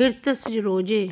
हृत्सरोजे